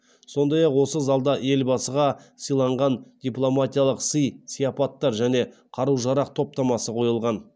сондай ақ осы залда елбасыға сыйланған дипломатиялық сый сияпаттар және қару жарақ топтамасы қойылған